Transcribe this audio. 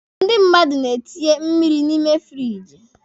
Ndị mmadụ na-etinye mmiri n'ime firiji.